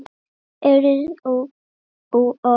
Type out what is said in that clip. Urð og grjót.